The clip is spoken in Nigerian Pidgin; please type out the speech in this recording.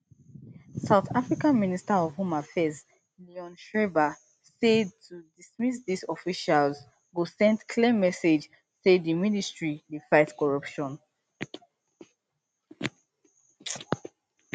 south africa minister of home affairs leon schreiber say to dismiss dis officials go send clear message say di ministry dey fight corruption